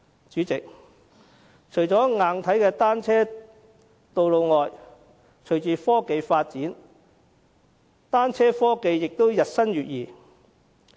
主席，除了硬體的單車道路外，隨着科技發展，單車科技也日新月異。